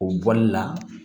O bɔli la